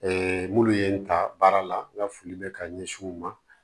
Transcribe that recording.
minnu ye n ta baara la n ka foli bɛ ka ɲɛsin u ma